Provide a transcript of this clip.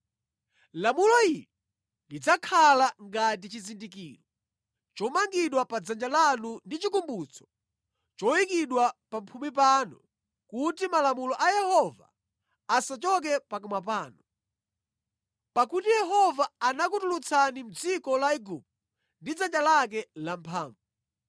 Lamulo ili lidzakhala ngati chizindikiro chomangidwa pa dzanja lanu ndi chikumbutso choyikidwa pamphumi panu kuti malamulo a Yehova asachoke pakamwa panu. Pakuti Yehova anakutulutsani mʼdziko la Igupto ndi dzanja lake lamphamvu.